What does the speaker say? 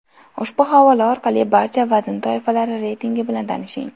Ushbu havola orqali barcha vazn toifalari reytingi bilan tanishing.